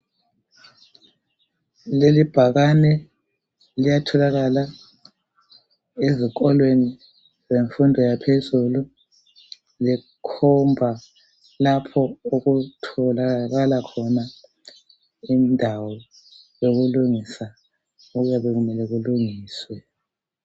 Leli ibhakane liyatholakala ezikolweni zemfundo yaphezulu. Likhomba lapho okutholakala khona indawo yokulungisa okuyabe kumele kulungiswe.